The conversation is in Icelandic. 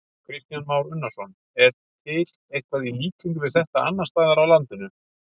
Kristján Már Unnarsson: Er til eitthvað í líkingu við þetta annarsstaðar á landinu?